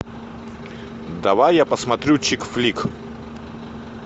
давай я посмотрю чик флик